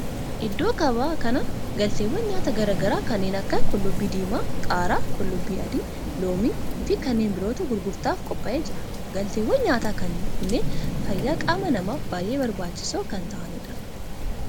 Iddoo gabaa kana galteewwan nyaataa garaa garaa kanneen akka qullubbii diimaa, qaaraa, qullubbii adii, loomii fi kanneen birootu gurgurtaaf qophaa'ee jira. Galteewwan nyaataa kunneen fayyaa qaama namaaf baayyee barbaachisoo kan ta'aanidha.